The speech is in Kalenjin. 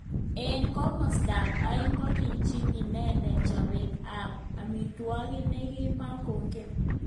Eng kimosta ab aeng kokichp inendet chobet ab amitwokik nekimakongen.